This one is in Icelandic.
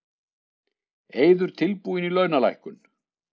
Eiður tilbúinn í launalækkun